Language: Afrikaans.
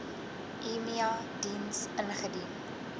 emia diens ingedien